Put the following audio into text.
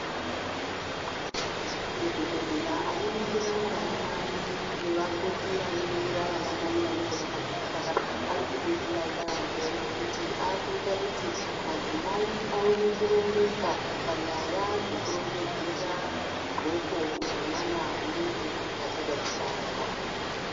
Madhokodheya anoningira vanamai nevakoti vanoningira vanamai vanenge vakadzitwara, ari kudetsera yambo ngekuti akuyita kuti madzimai awone kurongeka panyaya dzekurongedzera zvindxoko zvemwana unenge achada kubarwa.